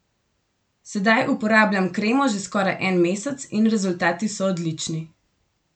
Sedaj uporabljam kremo že skoraj en mesec in rezultati so odlični.